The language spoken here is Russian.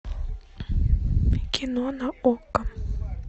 кино на окко